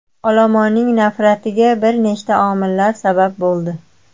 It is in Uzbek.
Olomonning nafratiga bir nechta omillar sabab bo‘ldi.